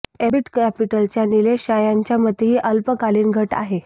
ambit कॅपिटलच्या नीलेश शाह यांच्या् मते ही अल्पकालीन घट आहे